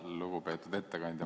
Lugupeetud ettekandja!